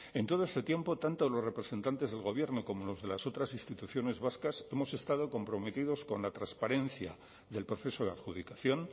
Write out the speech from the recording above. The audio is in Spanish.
en todo este tiempo tanto los representantes del gobierno como los de las otras instituciones vascas hemos estado comprometidos con la transparencia del proceso de adjudicación